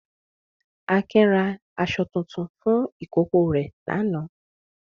Akin ra aṣọ tuntun fún ìkókó rẹ̀ lánàá.